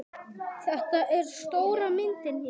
Þetta er stóra myndin hér.